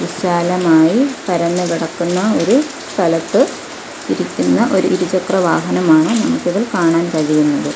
വിശാലമായി പരന്നു കിടക്കുന്ന ഒരു സ്ഥലത്ത് ഇരിക്കുന്ന ഒരു ഇരുചക്ര വാഹനമാണ് നമുക്ക് ഇതിൽ കാണാൻ കഴിയുന്നത്.